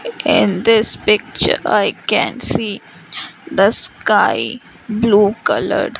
again this picture i can see the sky blue coloured.